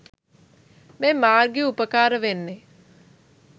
මේ මාර්ගය උපකාර වෙන්නෙ.